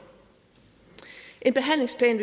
en behandlingsplan